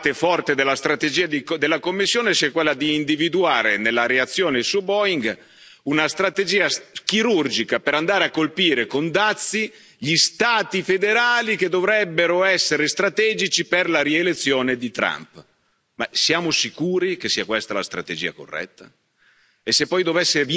Gira voce che parte forte della strategia della Commissione sia quella di individuare, nella reazione su Boeing, una strategia chirurgica per andare a colpire con dazi gli Stati federali che dovrebbero essere strategici per la rielezione di Trump. Ma siamo sicuri che sia questa la strategia corretta?